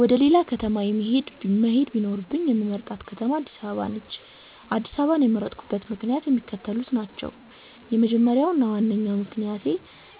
ወደ ሌላ ከተማ መሄድ ቢኖርብኝ የምመርጣት ከተማ አድስ አበባ ነች። አድስ አበባን የመረጥኩበት ምክንያትም የሚከተሉት ናቸው። የመጀመሪያው እና ዋነኛው ምክንያቴ